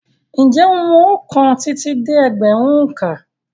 Ǹjẹ́ ó mọ ọkàn títí dé ẹgbẹ̀rún òǹkà.